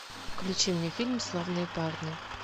включи мне фильм славные парни